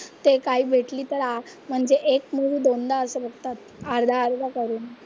ते काय भेटली तर म्हणजे एक मूवी दोनदा असं बघतात अर्धा अर्धा करून.